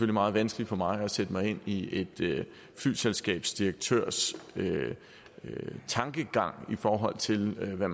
meget vanskeligt for mig at sætte mig ind i et flyselskabs direktørs tankegang i forhold til hvad